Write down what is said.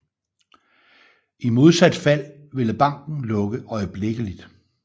I modsat fald ville banken lukke øjeblikkeligt